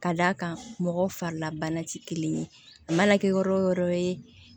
Ka d'a kan mɔgɔ farilabana tɛ kelen ye a mana kɛ yɔrɔ o yɔrɔ ye